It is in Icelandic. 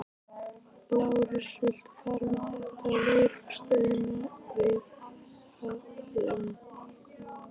Lárus, viltu fara með þetta á lögreglustöðina við Hlemm?